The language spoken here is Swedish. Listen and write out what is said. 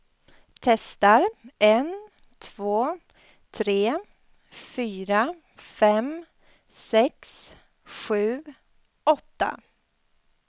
Testar en två tre fyra fem sex sju åtta.